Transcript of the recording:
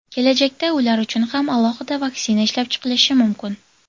Kelajakda ular uchun ham alohida vaksina ishlab chiqilishi mumkin.